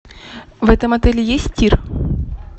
в этом отеле есть тир